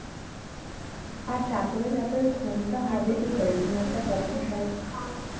আর তারপরে তারপরে ঘুমটা হবে কি করে তুমি একটা কথা